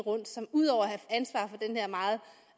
som ud over